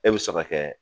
E bɛ sɔrɔ kɛ